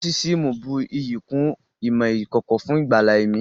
Nósísíìmù bù iyì kún ìmọ̀ ìkọ̀kọ̀ fún ìgbàlà ẹ̀mí